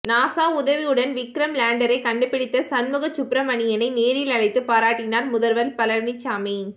NASA உதவியுடன் விக்ரம் லேண்டரை கண்டுபிடித்த சண்முக சுப்பிரமணியனை நேரில் அழைத்து பாராட்டினார் முதல்வர் பழனிசாமி